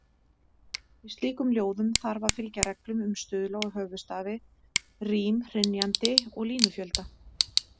Í slíkum ljóðum þarf að fylgja reglum um stuðla og höfuðstafi, rím, hrynjandi og línufjölda.